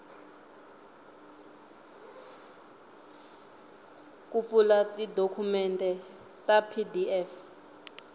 ku pfula tidokumende ta pdf